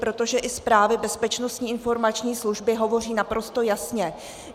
Protože i zprávy Bezpečnostní informační služby hovoří naprosto jasně.